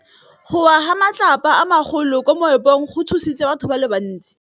Go wa ga matlapa a magolo ko moepong go tshositse batho ba le bantsi.